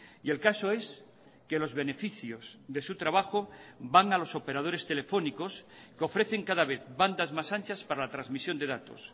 y el caso es que los beneficios de su trabajo van a los operadores telefónicos que ofrecen cada vez bandas más anchas para la transmisión de datos